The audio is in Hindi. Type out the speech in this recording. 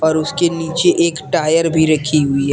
और उसके नीचे एक टायर भी रखी हुई है।